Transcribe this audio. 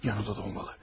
Yanında da olmalı.